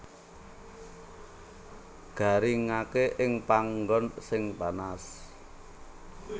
Garingaké ing panggon sing panas